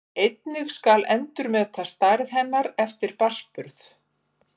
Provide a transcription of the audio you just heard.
Einnig skal endurmeta stærð hennar eftir barnsburð.